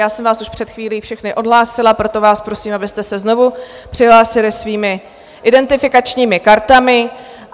Já jsem vás už před chvílí všechny odhlásila, proto vás prosím, abyste se znovu přihlásili svými identifikačními kartami.